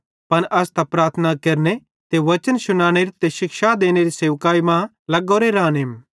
पन अस त प्रार्थना केरने ते बच्चन शुनानेरी ते शिक्षा देनेरी सेवाई मां लग्गोरो रानेम